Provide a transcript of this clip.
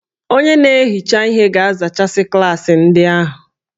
Onye na-ehicha ihe ga-azachasị klaasị ndị ahụ